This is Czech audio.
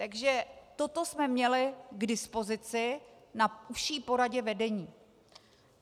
- Takže toto jsme měli k dispozici na užší poradě vedení.